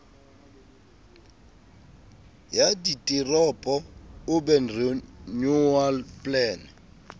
ya diteropo urban renewal plan